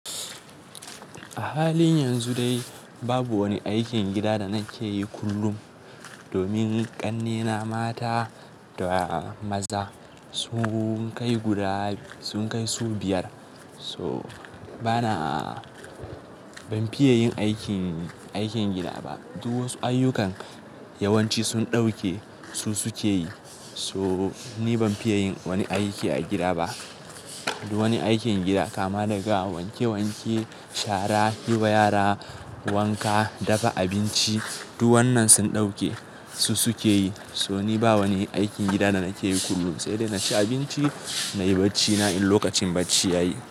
A halin yanzu dai babu wani aikin gida da na ke yi kullum domin ƙannena mata da maza sun kai guda sun kai su biyar. So bana ban fiye yin aikin, aikin gida ba. Duk wasu ayyukan yawanci sun ɗauke su suke yi. So ni ban fiye yin wani aiki a gida ba. Duk wani aikin gida kama daga wanke wanke, shara, yi wa yara wanka, dafa abinci duk wannan sun ɗauke su suke yi. So ni ba wani aikin gida da na ke yi kullum. Sede na ci abinci, na yi bacina in lokacin bacci ya yi.